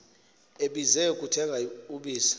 ebize kuthenga ubisi